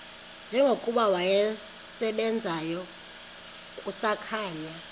njengokuba wasebenzayo kusakhanya